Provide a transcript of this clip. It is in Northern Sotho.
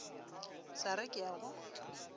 sa re ke a go